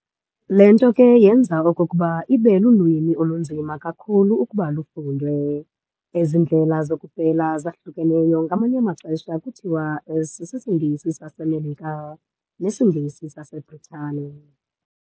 Le nto ke yenza okokuba ibe lulwimi olunzima kakhulu ukuba lufundwe. Ezi ndlela zokupela zahlukeneyo ngamanye amaxesha kuthiwa s"isiNgesi saseMelika" ne "siNgesi saseBritane".